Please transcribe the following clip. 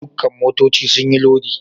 Dukan motoccin sun yi lodi?.